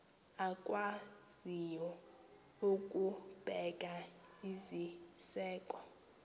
akwaziyo ukubeka iziseko